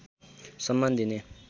सम्मान दिने